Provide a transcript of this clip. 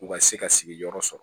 U ka se ka sigiyɔrɔ sɔrɔ